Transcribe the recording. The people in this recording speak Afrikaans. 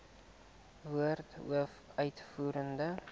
woorde hoof uitvoerende